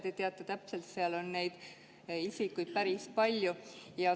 Te teate täpselt, et neid isikuid on päris palju.